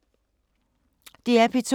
DR P2